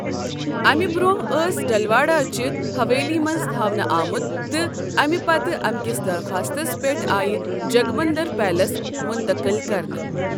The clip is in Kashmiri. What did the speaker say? امہِ برۅنٛہہ ٲس ڈیلواڑہ چہِ حویلی منٛز تھاونہٕ آمُت تہٕ امہِ پتہٕ امکِس درخواستس پٮ۪ٹھ آیہِ جگمندر پیلس مُنتقل کرنہٕ۔